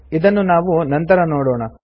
ಇದನ್ನು ನಾವು ನಂತರ ನೋಡೋಣ